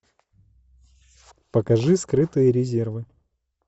покажи скрытые резервы